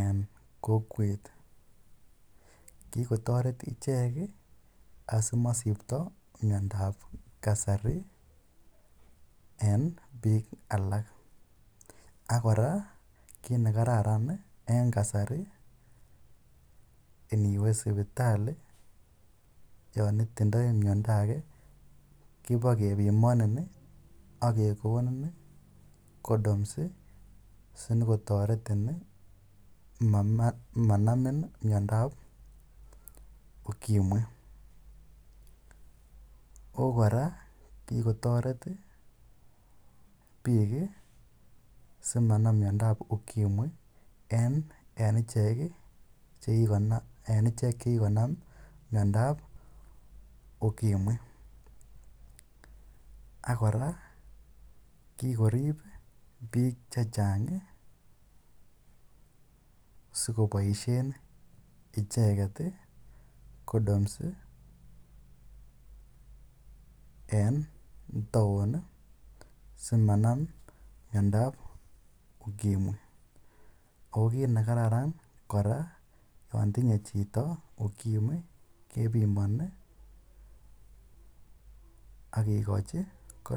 en kokwet. Kikotaret asimasipta miandap kasari eng' piik alk. Ak kora kii ne kararan eng' kasari, iniwe siptali yan itindai mianda age kipa kepimanin ak kekonin condoms si nyikotaretin manamin miomdo ap Ukimwi. Ako kora, kikotaret piik si manam miondo ap Ukimwi en ichek che kikonam miondoap ukimwi. Ak kora, kikorip piik che chang' si kopaishen icheget condoms en taon, simanam miondoap ukimwi. Ako kiit ne kararan kora ko yan tinye chito ukimwi kepimani ak kekochi condoms.